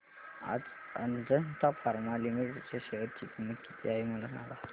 आज Ajanta Pharma Limited च्या share ची किंमत किती आहे मला सांगा